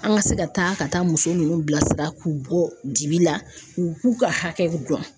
An ka se ka taa ka taa muso nunnu bilasira k'u bɔ dibi la k'u k'u ka hakɛw dɔn.